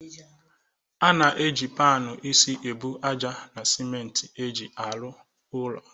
A na eji panu ịsị ebu àjà na siment e ji arụ ulo